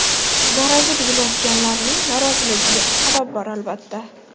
Garaji buzilayotganlarning noroziligiga sabab bor, albatta.